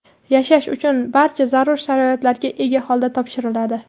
yashash uchun barcha zarur sharoitlarga ega holda topshiriladi.